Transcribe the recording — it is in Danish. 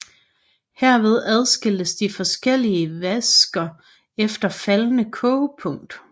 Herved adskilles de forskellige væsker efter faldende kogepunkt